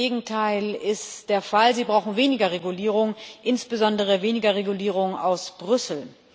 Das Gegenteil ist der Fall Sie brauchen weniger Regulierung, insbesondere weniger Regulierung aus Brüssel.